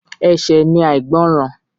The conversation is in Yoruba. Ẹ̀ṣẹ̀ ni àìgbọràn.